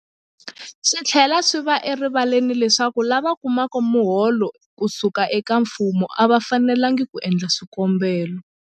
Swi tlhela swi va erivaleni leswaku lava kumaka miholo ku suka eka mfumo a va fanelanga ku endla swikombelo.